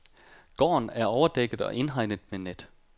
Gården er overdækket og indhegnet med net.